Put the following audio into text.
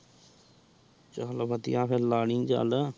ਚੱਲੋ ਵਧੀਆ ਫੇਰ ਲਾ ਲਈ ਚੱਲ।